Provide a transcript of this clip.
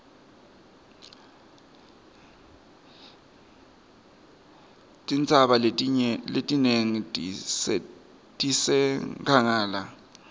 tintsaba letinengi tisenkhangala